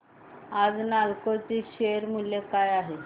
आज नालको चे शेअर मूल्य काय आहे